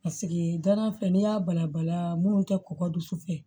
Paseke danana filɛ ni y'a bala bala minnu tɛ kɔkɔ dusu fɛ